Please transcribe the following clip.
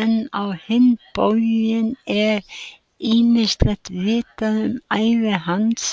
En á hinn bóginn er ýmislegt vitað um ævi hans